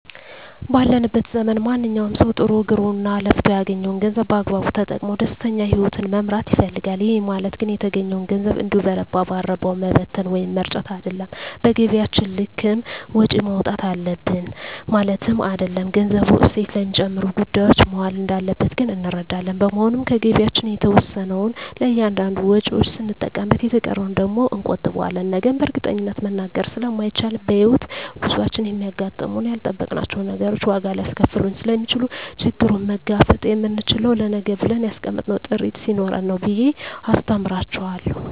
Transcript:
ባለንበት ዘመን ማንኛዉም ሰዉ ጥሮ ግሮእና ለፍቶ ያገኘዉን ገንዘብ በአግባቡ ተጠቅሞ ደስተኛ ህይወትን መምራት ይፈልጋል ይህ ማለት ግን የተገኘዉን ገንዘብ እንዲሁ በረባ ባረባዉ መበተን ወይም መርጨት አይደለም በገቢያችን ልክም ወጪ ማዉጣት አለብን ማለትም አይደለም ገንዘቡ እሴት ለሚጨምሩ ጉዳዮች መዋል እንዳለበት ግን እንረዳለን በመሆኑም ከገቢያችን የተወሰነዉን ለእያንዳንድ ወጪዎች ስንጠቀምበት የተቀረዉን ደግሞ እንቆጥበዋለን ነገን በእርግጠኝነት መናገር ስለማይቻልም በሕይወት ጉዟችን የሚያጋጥሙን ያልጠበቅናቸዉ ነገሮች ዋጋ ሊያስከፍሉን ስለሚችሉ ችግሩን መጋፈጥ የምንችለዉ ለነገ ብለን ያስቀመጥነዉ ጥሪት ስኖረን ነዉ ብየ አስተምራቸዋለሁ